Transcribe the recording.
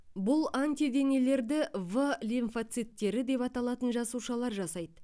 бұл антиденелерді в лимфоциттері деп аталатын жасушалар жасайды